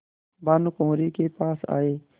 भानुकुँवरि के पास आये